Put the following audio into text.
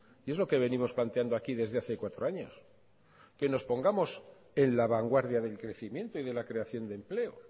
y es lo que venimos planteando aquí desde hace cuatro años que nos pongamos en la vanguardia del crecimiento y de la creación de empleo